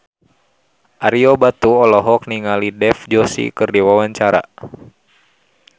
Ario Batu olohok ningali Dev Joshi keur diwawancara